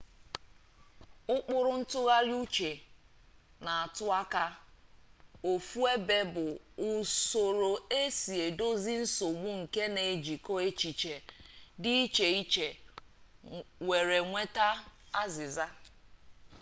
ụkpụrụ ntụgharị uche na-atụ aka ofu ebe bụ usoro esi edozi nsogbu nke na-ejikọ echiche dị iche iche were nweta azịza